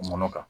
Mɔnɔ kan